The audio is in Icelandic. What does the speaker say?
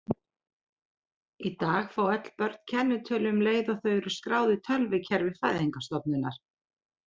Í dag fá öll börn kennitölu um leið og þau eru skráð í tölvukerfi fæðingarstofnunar.